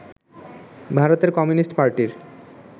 ভারতের কমিউনিস্ট পার্টির